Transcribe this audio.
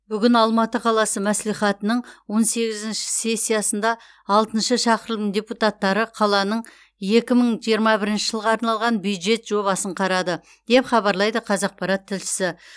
бүгін алматы қаласы мәслихатының он сегізінші сессиясында алтынышы шақырылым депутаттары қаланың екі мың жиырма бірінші жылға арналған бюджет жобасын қарады деп хабарлайды қазақпарат тілшісі